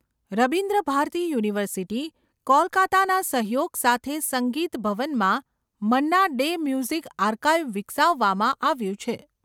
Rabindra Bharati university, કોલકાતાના સહયોગ સાથે સંગીત ભવનમાં મન્ના ડે મ્યુઝિક આર્કાઇવ વિકસાવવામાં આવ્યું છે.